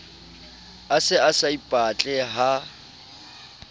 a se a saipatle ha